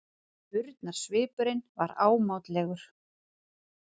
Spurnarsvipurinn var ámátlegur.